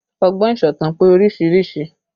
Ọgbọ́n ìsọ̀tàn pé oríṣiríṣi